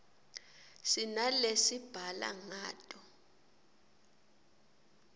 sinalesibhala ngato